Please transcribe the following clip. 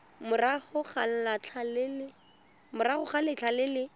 morago ga letlha le le